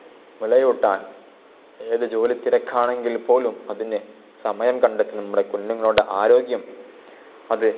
മുലയൂട്ടാൻ ഏതു ജോലി തിരക്കാണെങ്കിൽ പോലും അതിനെ സമയം കണ്ടെത്തി നമ്മുടെ കുഞ്ഞുങ്ങളുടെ ആരോഗ്യം അത്